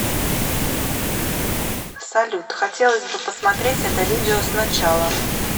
салют хотелось бы посмотреть это видео сначала